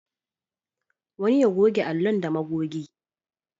Wani ya goge allon da magogi.